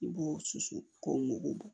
I b'o susu k'o mugu bɔ